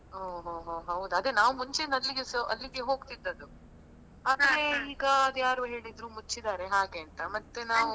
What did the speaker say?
ಹೋ ಹೋ ಹೋ ಹೌದಾ ಅದೇ ನಾವ್ ಮುಂಚೆಯಿಂದ ಅಲ್ಲಿಗೆಸ ಅಲ್ಲಿಗೆ ಹೋಗ್ತಿದ್ದದ್ದು ಈಗ ಅದೇ ಯಾರೋ ಹೇಳಿದ್ರು ಮುಚ್ಚಿದ್ದಾರೆ ಹಾಗೆ ಅಂತ ಮತ್ತೆ ನಾವು.